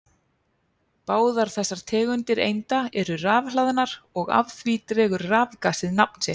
Báðar þessar tegundir einda eru rafhlaðnar og af því dregur rafgasið nafn sitt.